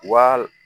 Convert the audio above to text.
Wa